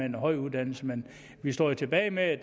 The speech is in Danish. en høj uddannelse men vi står jo tilbage med